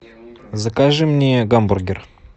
закажи мне гамбургер